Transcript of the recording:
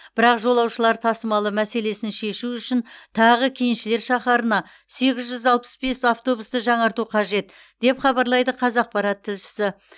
бірақ жолаушылар тасымалы мәселесін шешу үшін тағы кеншілер шаһарына сегіз жүз алпыс бес автобусты жаңарту қажет деп хабарлайды қазақпарат тілшісі